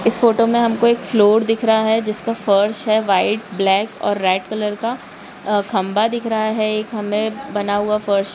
इस फोटो में हमको फ्लोर दिख रहा है जिसका फर्श है वाइट ब्लैक और रेड कलर का अ खंबा दिख रहा है। एक हमे बना हुआ फर्श--